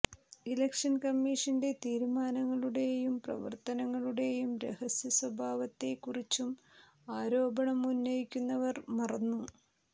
election കമ്മീഷന്റെ തീരുമാനങ്ങളുടെയും പ്രവർത്തനങ്ങളുടെയും രഹസ്യ സ്വാഭാവത്തെ ക്കുറിച്ചും ആരോപണം ഉന്നയിക്കുന്നവർ മറന്നു